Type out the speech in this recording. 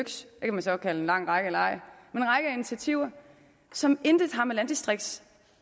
kan man så kalde en lang række eller ej som intet